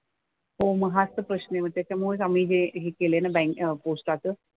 हो मग हाच तर प्रश्न आहे. मग त्याच्यामुळेच आम्ही हे हे केलंय ना बँक पोस्टाचं.